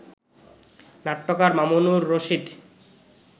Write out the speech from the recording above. নাট্যকার মামুনুর রশীদ